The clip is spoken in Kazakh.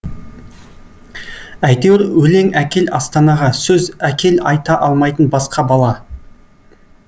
әйтеуір өлең әкел астанаға сөз әкел айта алмайтын басқа бала